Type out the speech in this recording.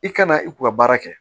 I kana i ku ka baara kɛ